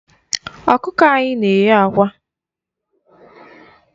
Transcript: Ọkụkọ anyị na-enye àkwá.